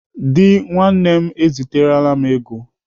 Dị nwanne m eziterela m ego.